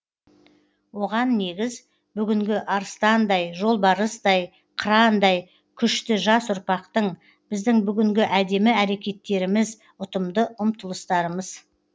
оған негіз бүгінгі арыстандай жолбарыстай қырандай күшті жас ұрпақтың біздің бүгінгі әдемі әрекеттеріміз ұтымды ұмтылыстарымыз